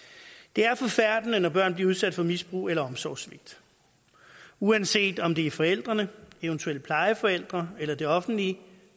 det er forfærdende når børn bliver udsat for misbrug eller omsorgssvigt uanset om det er forældrene eventuelt plejeforældre eller det offentlige